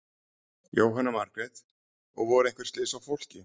Jóhanna Margrét: Og voru einhver slys á fólki?